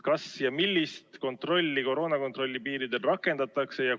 Millist koroonakontrolli piiripunktides rakendatakse?